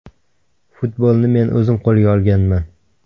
Futbolni men o‘zim qo‘lga olganman.